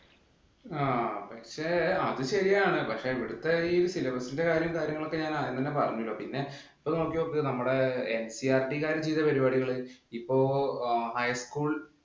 ആ പക്ഷെ അത് ശരിയാണ്. പക്ഷെ ഇവിടത്തെ syllabus ഇന്‍റെ കാര്യങ്ങള് ഞാന്‍ ആദ്യം തന്നെ പറഞ്ഞല്ലോ. പിന്നെ ഇപ്പം നോക്കി നോക്ക് നമ്മുടെ NCERT ക്കാര് ചെയ്ത പരിപാടികള്. ഇപ്പൊ highschool